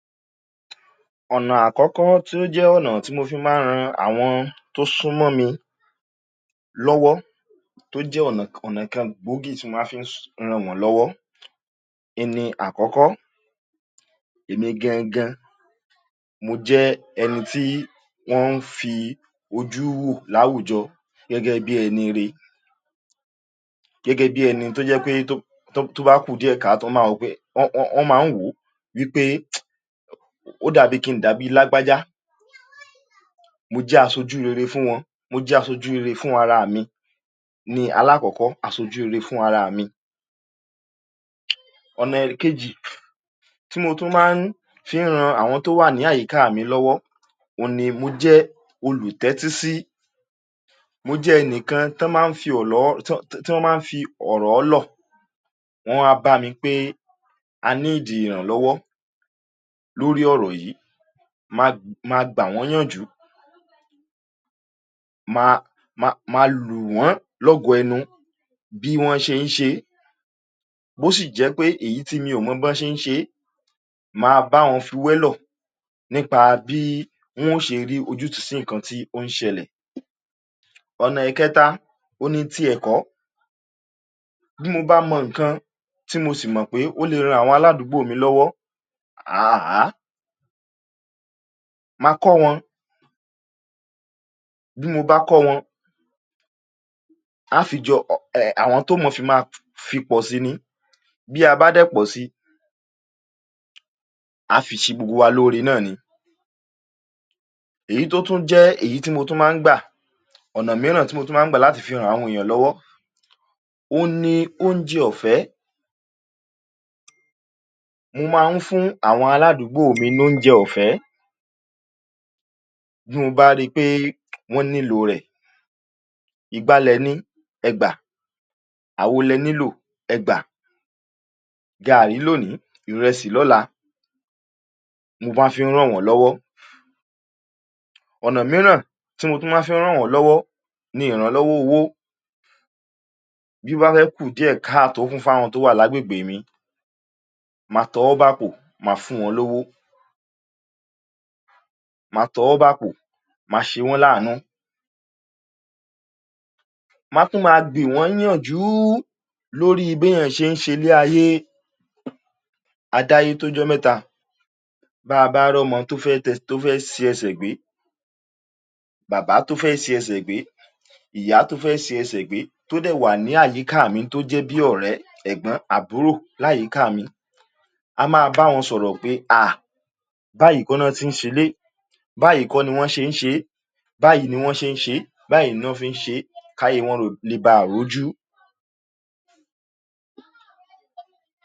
Ọ̀nà àkọ́kọ́ tó jẹ́ ọ̀nà tí mo fi máa ń ran àwọn tó súnmọ́ mi lọ́wọ́, tó jẹ́ ọ̀nà ọ̀nà kan gbòógì tí mo máa fi ràn wọ́n lọ́wọ́ in ni: àkọ́kọ́, èmi gan-an-gan, mo jẹ́ ẹni tí wọ́n ń fi ojú wò láwùjọ gẹ́gẹ́ bí ẹniire, gẹ́gẹ́ bí ẹni tó jẹ́ pé tó bá kù díẹ̀ káàtó, wọn máa wò ó pé, wọ́n, wọ́n máa ń wò ó wí pé ó dà bíi kí n dà bíi lágbájá. Mo jẹ́ aṣojú rere fún wọn. Mo jẹ́ aṣojú rere fún ahaà mi ni alákọ̀ọ́kọ́, aṣojú rere fún araà mi. Ọ̀nà ẹ̀kejì tí mo tún máa ń fi han àwọn tó wà ní àyíká mi lọ́wọ́, òun ni mo jẹ́ olùtẹ́tísí. Mo jẹ́ ẹnìkan tán máa ń fi tí wọ́n máa ń fi ọ̀rọ̀ lọ̀. Wọ́n á wá bá mi a níìdì ìrànlọ́wọ́ lórí ọ̀rọ̀ yìí. Ma gbà wọ́n ńyànjú. Ma, ma, ma lù wọ́n lọ́gọ ẹnu bí wọ́n ṣe ń ṣe é. Bó sì jẹ́ pé èyí tí mi ò mọ bán ṣe ń ṣe é, ma bá wọn fi wẹ́lọ̀ nípa bí wọ́n ó ṣe rí ojútùú sí ǹǹkan tí ó ń ṣẹlẹ̀. Ọ̀nà ẹ̀kẹta, òun ni ti ẹ̀kọ́. Bí mo bá mọ nǹkan, tí mo sì mọ̀ pé ó le ran aládùúgbò mi lọ́wọ́, um ma kọ́ wọn. Bí mo bá kọ́ wọn, á fi jọ um àwọn tó mọ̀ fi máa fi pọ̀ si ni. Bí a bá dẹ̀ pọ si, á fi ṣe gbogbo wa lóore náà ni. Èyí tó tún jẹ́ èyí tí mo tún máa ń gbà, ọ̀nà mìíràn tí mo tún máa ń gbà láti fi han àwọn èèyàn lọ́wọ́, òun ni oúnjẹ ọ̀fẹ́. Mo máa ń fún àwọn aládùúgbò mi lóúnjẹ ọ̀fẹ́ bí mo bá ri pé wọ́n nílò rẹ̀. Igbá lẹ ní, ẹ gbà, àwo lẹ nílò, ẹ gbà. Gaàrí lónìí, ìrẹsì lọ́la mo máa ń fi í ràn wọ́n lọ́wọ́. Ọ̀nà mìíràn tí mo tún máa ń fi í ràn wọ́n lọ́wọ́ ni ìrànlọ́wọ́ owó. Bí ó bá fẹ́ kù díẹ̀ káàtó fún fáwọn tó wà lágbègbè mi, ma tọwọ́ bàpò, ma fún wọn lówó. Ma tọwọ́ bàpò, ma ṣe wọ́n láàánú. Ma tún máa gbì wọ́n ńyànjú lórí béèyàn ṣe ń ṣelé ayé. A dáyé tójọ́ mẹ́ta. Bá a bá rọ́mọ tó fẹ́ si ẹsẹ̀ gbé, bàbá tó fẹ́ si ẹsẹ̀ gbé, ìyá tó fẹ́ si ẹsẹ̀ gbé, tó dẹ̀ wà ní àyíká mi tó jẹ́ bí ọ̀rẹ́, ẹ̀gbọ́n, àbúrò láyìíká mi, a máa bá wọn sọ̀rọ̀ pé àh! Báyìí kọ́ ná se ń ṣelé, báyìí kọ́ ni wọn ṣe ń ṣe é, báyìí ni wọ́n ṣe ń ṣe é, báyìí ni wọ́n fi ń ṣe é, káyé wọn le baà rójú.